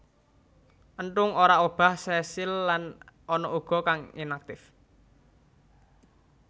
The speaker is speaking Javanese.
Enthung ora obah sesil lan ana uga kang inaktif